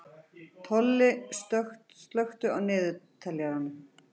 Tolli, slökktu á niðurteljaranum.